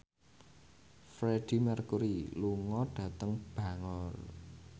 Freedie Mercury lunga dhateng Bangor